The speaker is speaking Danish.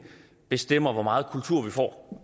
bestemmer hvor meget kultur vi får